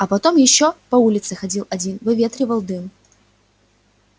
а потом ещё по улице ходил один выветривал дым